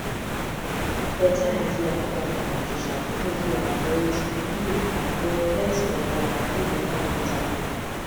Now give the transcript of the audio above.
beta idea for partner communication fit make you avoid you avoid plenty wahala wey go come later